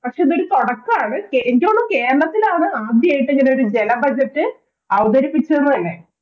പക്ഷേ, ഇത് ഒരു തൊടക്കം ആണ്. എനിക്ക് തോന്നുന്നു കേരളത്തിലാണ് ആദ്യയായിട്ട് ഇങ്ങനെ ഒരു ജല budget അവതരിപ്പിച്ചത് തന്നെ.